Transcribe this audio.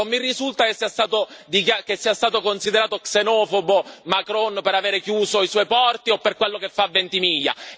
Non mi risulta che sia stato considerato xenofobo Macron per avere chiuso i suoi porti o per quello che fa a Ventimiglia.